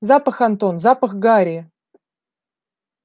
запах антон запах гари